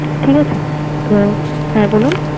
ঠিক আছে তো হ্যাঁ বলুন